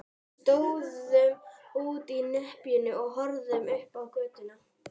Við stóðum úti í nepjunni og horfðum upp á götuna.